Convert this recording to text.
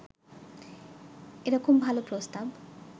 এরকম ভালো প্রস্তাব